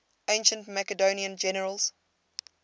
ancient macedonian generals